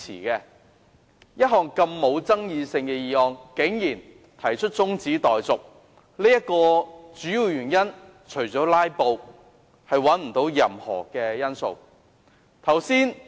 一項沒有爭議性的議案，竟然有議員提出中止待續，除了"拉布"，我找不到任何其他理由。